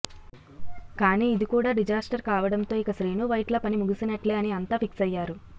కానీ ఇది కూడా డిజాస్టర్ కావడం తో ఇక శ్రీను వైట్ల పని ముగిసినట్లే అని అంత ఫిక్స్ అయ్యారు